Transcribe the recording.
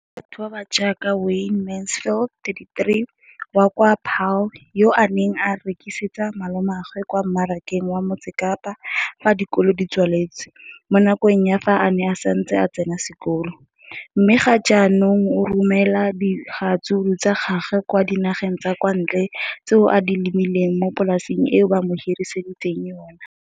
leno le thusitse batho ba ba jaaka Wayne Mansfield, 33, wa kwa Paarl, yo a neng a rekisetsa malomagwe kwa Marakeng wa Motsekapa fa dikolo di tswaletse, mo nakong ya fa a ne a santse a tsena sekolo, mme ga jaanong o romela diratsuru tsa gagwe kwa dinageng tsa kwa ntle tseo a di lemileng mo polaseng eo ba mo hiriseditseng yona.